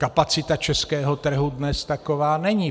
Kapacita českého trhu dnes taková není.